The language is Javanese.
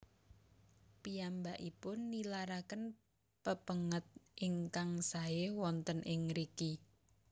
Piyambakipun nilaraken pepènget ingkang saé wonten ing ngriki